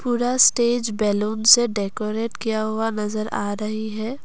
पूरा stage balloon से decorate किया हुआ नजर आ रही है।